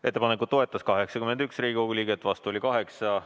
Ettepanekut toetas 81 Riigikogu liiget, vastu oli 8.